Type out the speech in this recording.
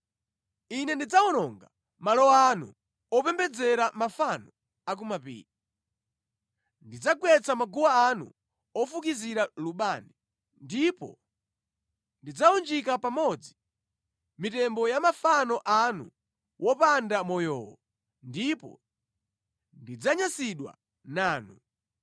Ine ndidzawononga malo anu opembedzera mafano a ku mapiri. Ndidzagwetsa maguwa anu ofukizira lubani, ndipo ndidzawunjika pamodzi mitembo ya mafano anu wopanda moyowo, ndipo ndidzanyansidwa nanu.